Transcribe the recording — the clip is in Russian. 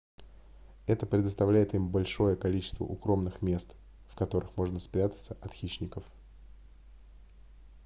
это предоставляет им большее количество укромных мест в которых можно спрятаться от хищников